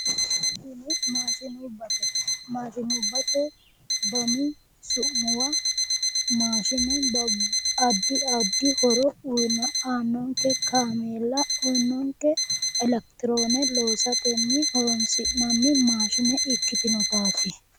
Tini Maashinubbate Maashinubbate dani su'muwa maashine addi addi horo aannonke kameella aannonke elekitiroone loosatenni horonsi'nanni maashine ikkitinotaati